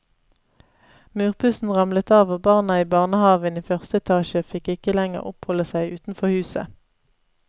Murpussen ramlet av og barna i barnehaven i første etasje fikk ikke lenger oppholde seg utenfor huset.